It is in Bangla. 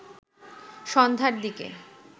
সন্ধ্যার দিকে